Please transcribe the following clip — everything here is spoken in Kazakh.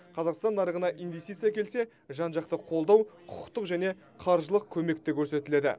қазақстан нарығына инвестиция әкелсе жан жақты қолдау құқықтық және қаржылық көмек те көрсетіледі